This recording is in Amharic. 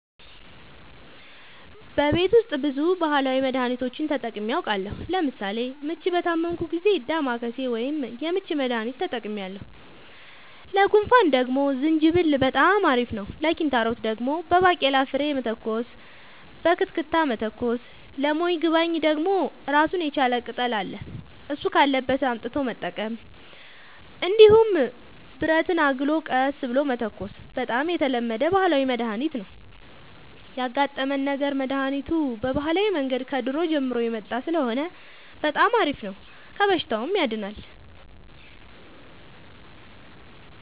በቤት ውስጥ ብዙ ባህላዊ መድሀኒቶችን ተጠቅሜ አውቃለሁ ለምሳሌ ምች በታመምሁ ጊዜ ዳማከሴ ወይም የምች መድሀኒት ተጠቅሜያለሁ ለጉንፋን ደግሞ ዝንጅብል በጣም አሪፍ ነው ለኪንታሮት ደግሞ በባቄላ ፍሬ መተኮስ በክትክታ መተኮስ ለሞይባገኝ ደግሞ እራሱን የቻለ ቅጠል አለ እሱ ካለበት አምጥቶ መጠቀም እንዲሁም ብረትን አግሎ ቀስ ብሎ መተኮስ በጣም የተለመደ ባህላዊ መድሀኒት ነው ያጋጠመን ነገር መድሀኒቱ በባህላዊ መንገድ ከድሮ ጀምሮ የመጣ ስለሆነ በጣም አሪፍ ነው ከበሽታውም ያድናል።